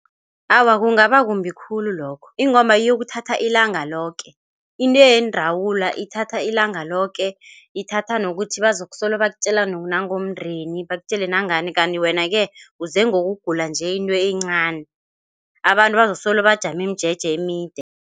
Awa, kungaba kumbi khulu lokho ingomba iyokuthatha ilanga loke. Into yendawula ithatha ilanga loke. Ithatha nokuthi bazokusolo bakutjela nangomndeni bakutjele nangani kanti wena-ke uze ngokugula nje into encani. Abantu bazasolo bajame imijeje emide.